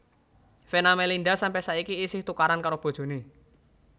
Venna Melinda sampe saiki isih tukaran karo bojone